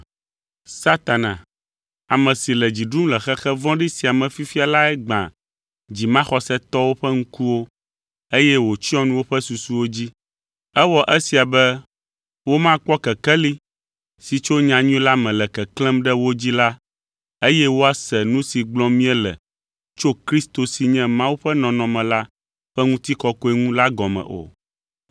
Satana, ame si le dzi ɖum le xexe vɔ̃ɖi sia me fifia lae gbã dzimaxɔsetɔwo ƒe ŋkuwo eye wòtsyɔ nu woƒe susuwo dzi. Ewɔ esia be womakpɔ kekeli si tso nyanyui la me le keklẽm ɖe wo dzi la eye woase nu si gblɔm míele tso Kristo si nye Mawu ƒe nɔnɔme la ƒe ŋutikɔkɔe ŋu la gɔme o.